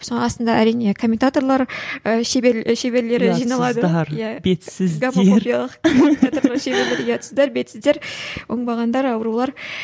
соның астында әрине коментаторлар ы шебер шеберлері жиналады ұятсыздар бетсіздер оңбағандар аурулар